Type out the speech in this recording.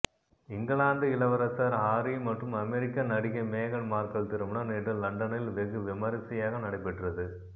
இந்கிலாந்து இளவரசர் ஹாரி மற்றும் அமெரிக்க நடிகை மேகன் மார்க்கல் திருமணம் நேற்று லண்டனில் வெகு விமரிசையாக நடைபெற்றது